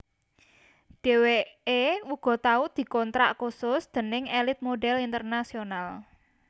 Dheweké uga tau dikontrak khusus déning Elite Model International